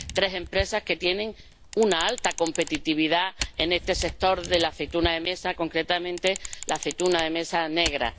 tres empresas que tienen una alta competitividad en este sector de la aceituna de mesa, concretamente, la aceituna de mesa negra.